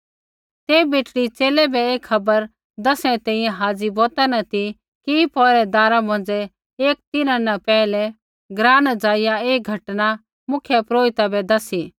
ते बेटड़ी च़ेले बै ऐ खबर दसणै री तैंईंयैं हाज़ी बौता न ती कि पौहरैदारा मौंझ़ै किछ़ तिन्हां न पैहलै ग्राँ न ज़ाइआ ऐ घटना मुख्यपुरोहिता बै दसी